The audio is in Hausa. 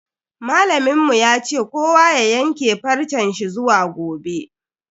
Malamin mu ya ce kowa ya yanke farce shi zuwa gobe.